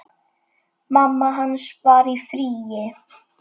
Mamma hans var í fríi.